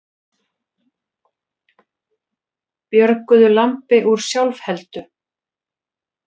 Björguðu lambi úr sjálfheldu